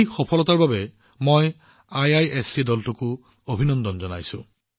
এই সফলতাৰ বাবে মই আইআইএছচিৰ দলটোকো অভিনন্দন জনাইছো